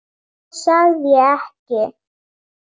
Það sagði ég ekki